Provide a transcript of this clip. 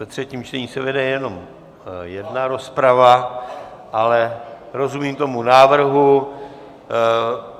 Ve třetím čtení se vede jenom jedna rozprava, ale rozumím tomu návrhu.